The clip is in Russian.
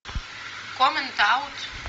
коммент аут